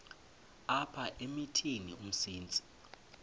apha emithini umsintsi